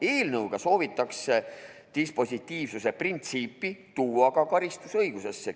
Eelnõuga soovitakse dispositiivsuse printsiip tuua ka karistusõigusesse.